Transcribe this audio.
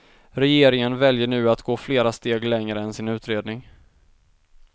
Regeringen väljer nu att gå flera steg längre än sin utredning.